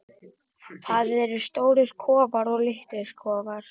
Það eru stórir kofar og litlir kofar.